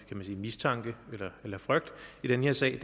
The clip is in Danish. mistanke eller frygt i den her sag